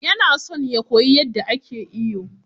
Yana son ya koyi yadda ake iyo.